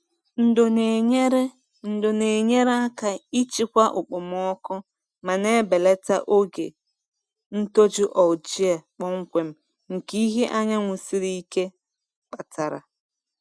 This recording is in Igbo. Ndo na-enyere Ndo na-enyere aka ịchịkwa okpomọkụ ma na-ebelata oge ntoju algae kpọmkwem nke ìhè anyanwụ siri ike kpatara.